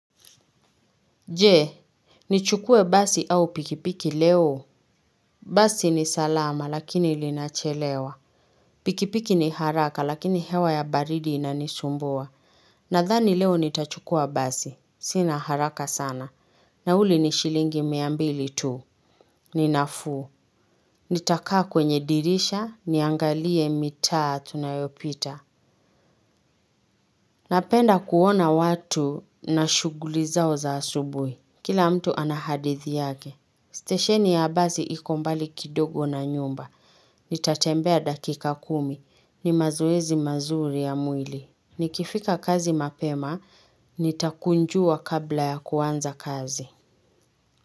Jee, nichukue basi au pikipiki leo. Basi ni salama lakini ilinachelewa. Pikipiki ni haraka lakini hewa ya baridi inanisumbua. Nadhani leo nitachukua basi. Sina haraka sana. Nauli ni shilingi miambili tu. Ninafuu. Nitakaa kwenye dirisha, niangalie mita tunayopita. Napenda kuona watu na shuguli zao za asubui. Kila mtu anahadithi yake. Station ya basi iko mbali kidogo na nyumba. Nitatembea dakika kumi. Nimazoezi mazuri ya mwili. Nikifika kazi mapema, nitakunjua kabla ya kuanza kazi.